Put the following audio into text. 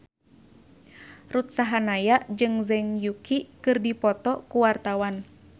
Ruth Sahanaya jeung Zhang Yuqi keur dipoto ku wartawan